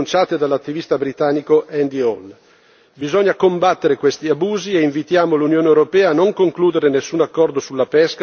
Bisogna combattere questi abusi e invitiamo l'Unione europea a non concludere nessun accordo sulla pesca se questi problemi non saranno affrontati e risolti.